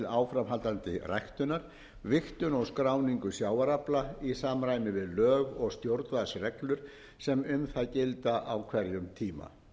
áframhaldandi ræktunar vigtun og skráningu sjávarafla í samræmi við lög og stjórnvaldsreglur sem um það gilda á hverjum tíma einnig er